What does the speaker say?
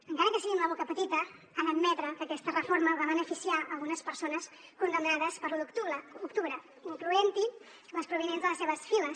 encara que sigui amb la boca petita ha d’admetre que aquesta reforma va beneficiar algunes persones condemnades per l’u d’octubre incloent hi les provinents de les seves files